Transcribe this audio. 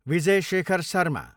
Vijay Shekhar Sharma